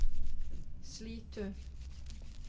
Slitu